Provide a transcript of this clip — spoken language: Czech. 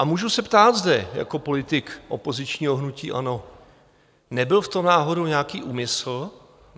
A můžu se ptát zde jako politik opozičního hnutí ANO - nebyl v tom náhodou nějaký úmysl?